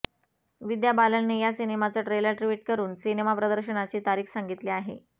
विद्या बालनने या सिनेमाचं ट्रेलर ट्वीट करुन सिनेमा प्रदर्शनाची तारिख सांगितली आहे